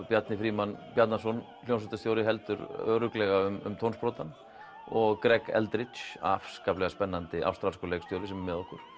Bjarni Frímann Bjarnason thljómsveitarstjóri heldur örugglega um og Greg Eldridge afskaplega spennandi ástralskur leikstjóri sem er með okkur